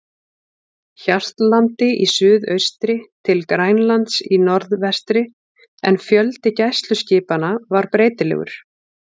Hjaltlandi í suðaustri til Grænlands í norðvestri, en fjöldi gæsluskipanna var breytilegur.